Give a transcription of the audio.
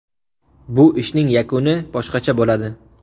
Bu ishning yakuni boshqacha bo‘ladi.